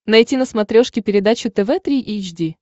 найти на смотрешке передачу тв три эйч ди